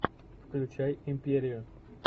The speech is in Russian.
включай империю